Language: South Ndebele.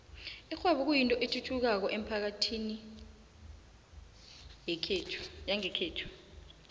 ikghwebo kuyinto ethuthukako emphakathini yangekhethu